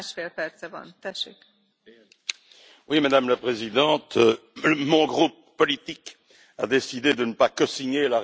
Madame la Présidente, mon groupe politique a décidé de ne pas cosigner la résolution portant sur la RCA.